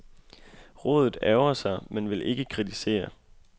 Rådet ærgrer sig, men vil ikke kritisere.